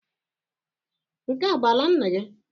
Nke a bụ ala nna gị?